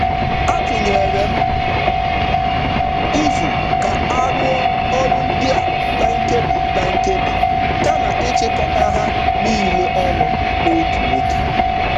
M tụrụ aro ụzọ nnyefe nkebi kama ịgbasa ihe niile n’otu oge. niile n’otu oge.